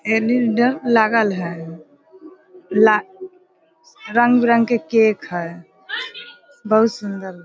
LED. लागल है। ला रंग बिरंग के केक है। बहुत सुन्दर --